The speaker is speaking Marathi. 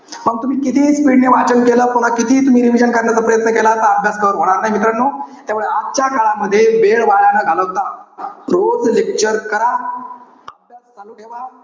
मग तुम्ही कितीही speed ने वाचन केलं, कितीही तुम्ही revision करण्याचा प्रयत्न केला तर अभ्यास cover होणार नाई. मित्रानो, त्यामुळे आजच्या काळामध्ये, वेळ वाया न घालवता, रोज lecture करा, अभ्यास चालू ठेवा.